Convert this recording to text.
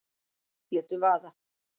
Létu vaða